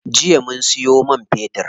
Jiya muka siyo man fetir.